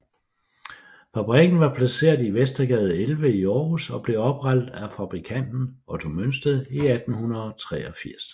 Fabrikken var placeret i Vestergade 11 i Aarhus og blev oprettet af fabrikanten Otto Mønsted i 1883